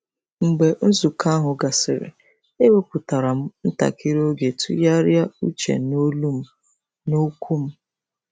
Mgbe nzukọ ahụ gasịrị, ewepụtara m ntakịrị oge tụgharịa uche n’olu m na okwu m.